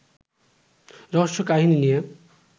রহস্যকাহিনী নিয়ে